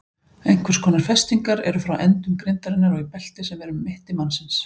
Einhvers konar festingar eru frá endum grindarinnar og í belti sem er um mitti mannsins.